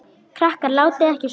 Krakkar látiði ekki svona!